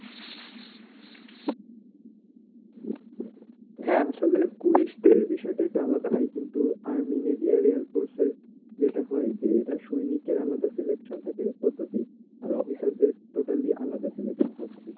হ্যা আসলে পুলিশদের বিষয় টা একটু আলাদা ভাই কিন্তু army navy air force এর যেটা হয় যে এটার সৈনিক এর আলাদা selection থাকে পদ্ধতি আর অফিসার দের totally আলাদা selection থাকে